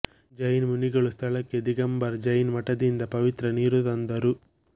ಜೈನ ಮುನಿಗಳು ಸ್ಥಳಕ್ಕೇ ದಿಗಂಬರ್ ಜೈನ್ ಮಠದಿಂದ ಪವಿತ್ರ ನೀರು ತಂದರು